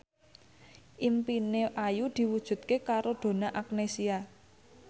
impine Ayu diwujudke karo Donna Agnesia